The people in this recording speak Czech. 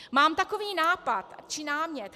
Mám takový nápad či námět.